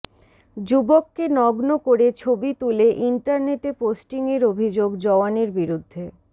যুবককে নগ্ন করে ছবি তুলে ইন্টারনেটে পোস্টিংয়ের অভিযোগ জওয়ানের বিরুদ্ধে